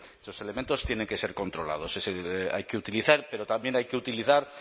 que los elementos tienen que ser controlados hay que utilizar pero también hay que utilizar